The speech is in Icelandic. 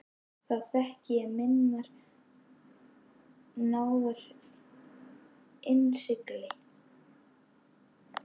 Þá þekki ég minnar náðar innsigli.